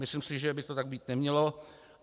Myslím si, že by to tak být nemělo.